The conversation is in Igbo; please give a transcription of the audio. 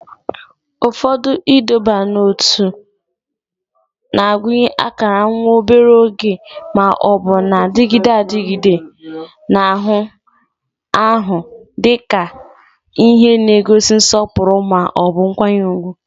Ụfọdụ ịdọba n'ótú na-agụnye akara nwa obere oge ma ọ bụ na-adịgide adịgide n'anụ ahụ dị ka ihe n'egosi nsọpụrụ ma ọ bụ nkwanye ùgwù